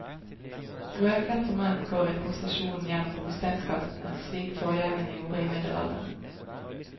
Rødkledte menn går i prosesjon gjennom brostensgatene, slik forgjengerne gjorde i middelalderen.